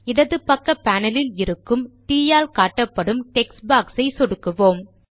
இடது பக்க பானலில் இருக்கும் ட் ஆல் காட்டப்படும் டெக்ஸ்ட் பாக்ஸ் ஐ சொடுக்குவோம்